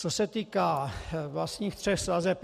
Co se týká vlastních tří sazeb.